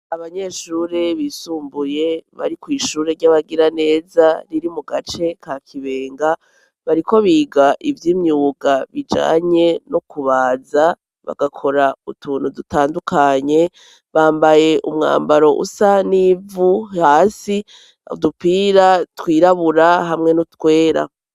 Abanyeshuri bisumbuye bari kw'ishure ry'abagiraneza riri mu gace ka Kibenga, bariko biga ivy' imyuga bijanye no kubaza, bagakora utuntu dutandukanye, bambaye umwambaro usa n'ivu hasi, udupira twirabura hamwe n'utwera.